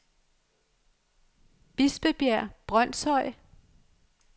Bispebjerg Brønshøj